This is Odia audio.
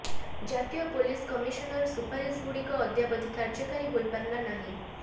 ଜାତୀୟ ପୋଲିସ କମିଶନର ସୁପାରିଶ ଗୁଡିକ ଅଦ୍ୟାବଧି କାର୍ଯ୍ୟକାରୀ ହୋଇପାରିଲା ନାହିଁ